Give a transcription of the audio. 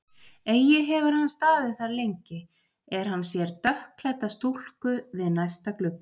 Eigi hefur hann staðið þar lengi, er hann sér dökkklædda stúlku við næsta glugga.